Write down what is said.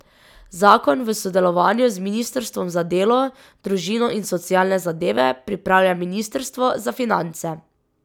Zakon v sodelovanju z ministrstvom za delo, družino in socialne zadeve pripravlja ministrstvo za finance.